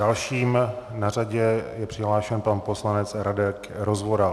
Dalším na řadě je přihlášen pan poslanec Radek Rozvoral.